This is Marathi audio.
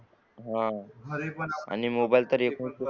हा आणि मोबाईल पण